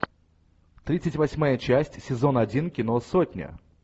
тридцать восьмая часть сезон один кино сотня